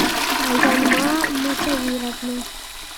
аянма мусавировна